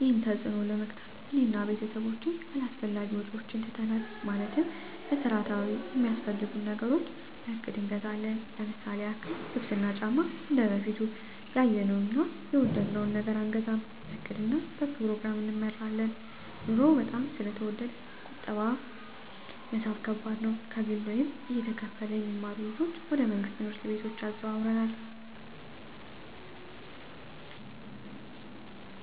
ይህንን ተፅዕኖ ለመግታት እኔ እና ቤተሰቦቸ አላስፈላጊ ወጪዎችን ትተናል ማለትም መሠረታዊ ሚያስፈልጉንን ነገሮች በእቅድ እንገዛለን ለምሳሌ ያክል ልብስ እና ጫማ እንደበፊቱ ያየነውን እና የወደድነውን ነገር አንገዛም በእቅድ እና በፕሮግራም እንመራለን ኑሮው በጣም ስለተወደደ ቁጠባ መሣብ ከባድ ነው። ከግል ወይም እየተከፈለ የሚማሩ ልጆችን ወደ መንግሥት ትምህርት ቤቶች አዘዋውረናል።